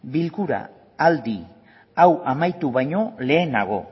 bilkura aldi hau amaitu baino lehenago